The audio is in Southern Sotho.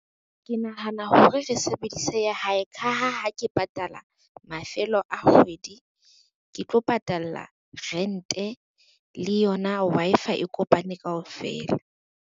Ke nahana hore re sebedise ya hae ka ha ha ke patala mafelo a kgwedi, ke tlo patalla rent-e le yona Wi-Fi e kopane kaofela.